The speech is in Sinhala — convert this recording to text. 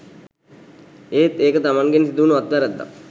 එත් ඒක තමන්ගෙන් සිදුවුන අත්වැරැද්දක්